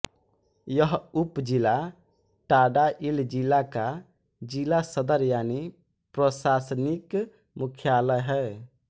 यह उपज़िला टाङाइल जिला का ज़िला सदर यानी प्रशासनिक मुख्यालय है